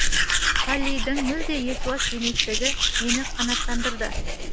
поллидің мүлде есуас еместігі мені қанаттандырды